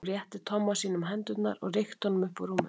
Hún rétti Tomma sínum hendurnar og rykkti honum upp úr rúminu.